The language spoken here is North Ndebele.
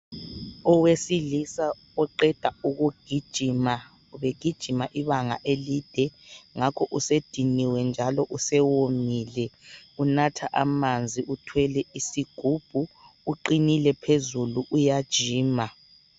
Owesilisa oqeda ukugijima egijima ibanga elide ngakho usediniwe njalo usewomile unatha amanzi uthwele isigubhu uqinile phezulu uyajima.